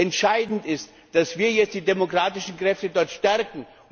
Entscheidend ist, dass wir jetzt die demokratischen Kräfte dort stärken.